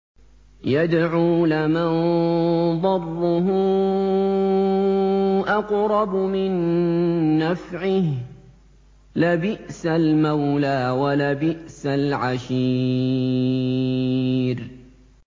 يَدْعُو لَمَن ضَرُّهُ أَقْرَبُ مِن نَّفْعِهِ ۚ لَبِئْسَ الْمَوْلَىٰ وَلَبِئْسَ الْعَشِيرُ